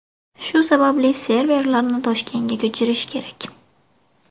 Shu sababli serverlarni Toshkentga ko‘chirish kerak.